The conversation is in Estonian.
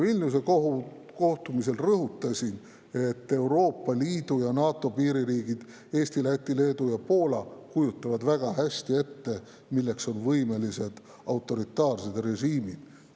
Vilniuse kohtumisel rõhutasin, et Euroopa Liidu ja NATO piiririigid Eesti, Läti, Leedu ja Poola kujutavad väga hästi ette, milleks on võimelised autoritaarsed režiimid.